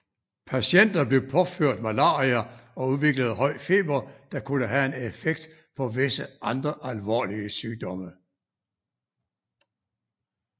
Patienter blev påført malaria og udviklede høj feber der kunne have en effekt på visse andre alvorlige sygdomme